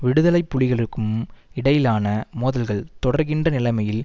விடுதலை புலிகளுக்கும் இடையிலான மோதல்கள் தொடர்கின்ற நிலமையில்